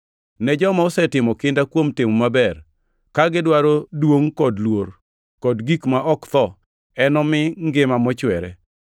Ne joma osetimo kinda kuom timo maber, ka gidwaro duongʼ kod luor, kod gik ma ok tho, enomi ngima mochwere.